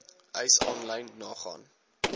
eis aanlyn nagaan